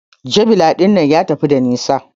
Javeline ɗinnan ya tafi da nisa.